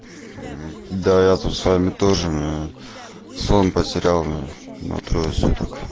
да я с вами тоже сон потерял на трое суток